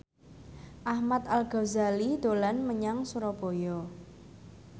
Ahmad Al Ghazali dolan menyang Surabaya